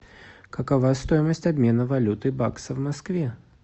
какова стоимость обмена валюты бакса в москве